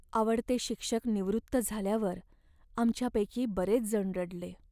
आवडते शिक्षक निवृत्त झाल्यावर आमच्यापैकी बरेचजण रडले.